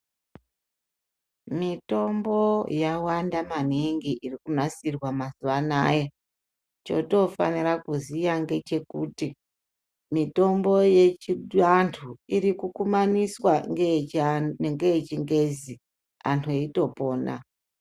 Mitombo yawanda maningi irikunasirwa mazuwa anaya chotofanira kuziya ngechekuti mitombo yechiantu irikukumaniswa ngeyechingezi antu eitopona.